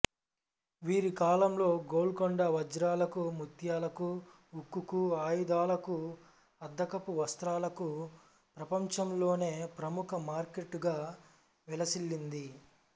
వీరి కాలంలో గోల్కొండ వజ్రాలకు ముత్యాలకు ఉక్కుకు ఆయుధాలకు అద్దకపు వస్త్రాలకు ప్రపంచంలోనే ప్రముఖ మార్కెట్టుగా విలసిల్లింది